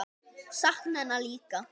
Sakna hennar líka.